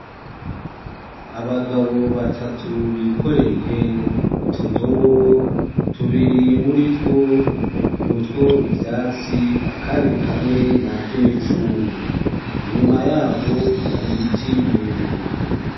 abagabo batatu bikoreye utudobo tubiri muritwo nutwo ivyatsi akandi kamwe nakimicungwe inyuma yabo hari ibiti birebire